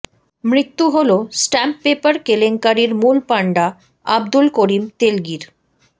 মৃত্যু হল stamp paper কেলেঙ্কারির মূল পাণ্ডা আবদুল করিম তেলগির